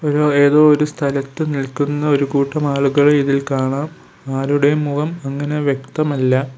ഒരു ഏതൊരു സ്ഥലത്ത് നിൽക്കുന്ന ഒരുകൂട്ടം ആളുകളെ ഇതിൽ കാണാം ആരുടെയും മുഖം അങ്ങനെ വ്യക്തമല്ല.